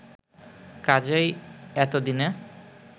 কাজেই এতদিনে